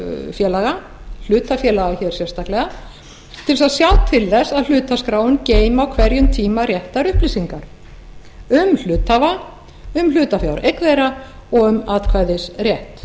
félaga hlutafélaga hér sérstaklega til þess að sjá til þess að hlutaskráin geymi á hverjum tíma réttar upplýsingar um hluthafa um hlutafjáreign þeirra og um atkvæðisrétt